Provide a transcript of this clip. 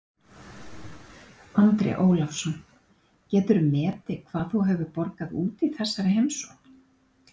Andri Ólafsson: Geturðu metið hvað þú hefur borgað út í þessari heimsókn?